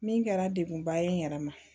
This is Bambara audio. Min kɛra degunba ye n yɛrɛ ma